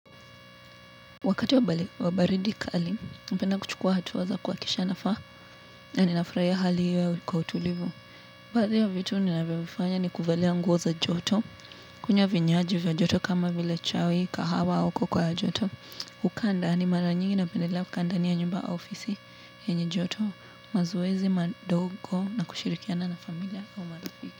Wakati wa baridi kali, napenda kuchukua hatua za kwa kisha nafaa na ninafurahia hali hiyo kwa utulivu. Baada vitu ninavyovifanya ni kuvalia nguo za joto, kunywa vinywaji vya joto kama vile chai, kahawa au cocoa ya joto. Hukaa ndani, mara nyingi napendelea kukaa ndani ya nyumba au ofisi yenye joto, mazoezi madogo na kushirikiana na familia au marafiki.